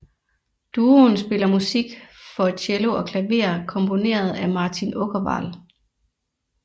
Duoen spiller musik for cello og klaver komponeret af Martin Åkerwall